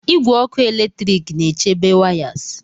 Igwe ọkụ eletrik na-echebe wires.